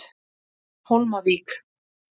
Hólmavík